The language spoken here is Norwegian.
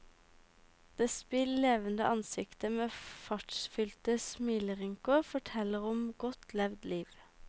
Det spill levende ansiktet med fartsfylte smilerynker, forteller om godt levd liv.